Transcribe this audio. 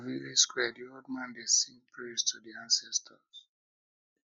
for village square di old man dey sing praises to di ancestors